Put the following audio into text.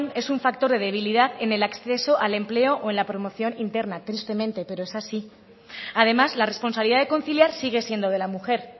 es un factor de debilidad en el acceso al empleo o en la promoción interna tristemente pero es así además la responsabilidad de conciliar sigue siendo de la mujer